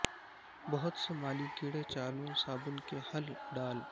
بہت سے مالی کیڑے چالوں صابن کے حل ڈال